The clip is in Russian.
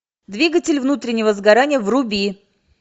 двигатель внутреннего сгорания вруби